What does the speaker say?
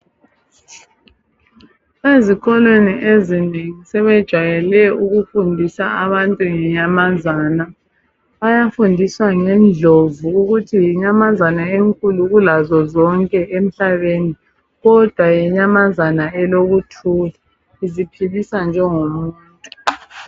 Ezikolweni ezinengi sebejayela ukufundisa abantu ngenyamazana. Bayafundisa ngendlovu ukuthi yinyamazana enkulu kulazo zonke emhlabeni, kodwa yinyamazana elikuthula iziphilisa njengomuntu.